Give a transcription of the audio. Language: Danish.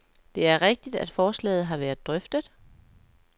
Det er rigtigt, at forslaget har været drøftet.